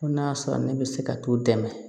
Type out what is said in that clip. Ko n'a sɔrɔ ne bɛ se ka t'u dɛmɛ